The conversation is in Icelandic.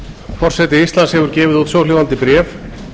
forseti íslands hefur gefið út svohljóðandi bréf